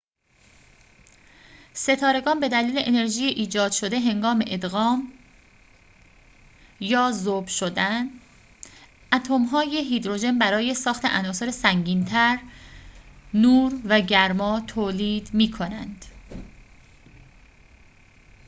ستارگان به دلیل انرژی ایجاد شده هنگام ادغام یا ذوب شدن اتم های هیدروژن برای ساخت عناصر سنگین تر، نور و گرما تولید می‌کنند